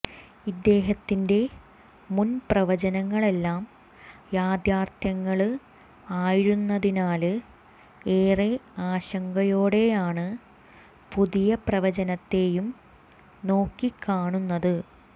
ഇദ്ദേഹത്തിന്റെ മുന്പ്രവചനങ്ങളെല്ലാം യാഥാര്ത്ഥ്യങ്ങള് ആയിരുന്നതിനാല് ഏറെ ആശങ്കയോടെയാണ് പുതിയ പ്രവചനത്തെയും നോക്കിക്കാണുന്നത്